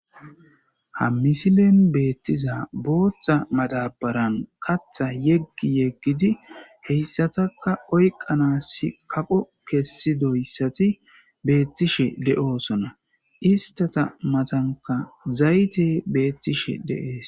Ha misilen beetizay bootha madabaren katha yeggi yeggidi h ysataka oykanasi kaqo kesidoysati beetishe de'osona istata matanka zayte beetishe de'es.